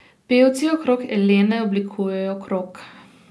Pevci okrog Elene oblikujejo krog.